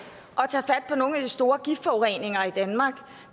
og nogle af de store giftforureninger i danmark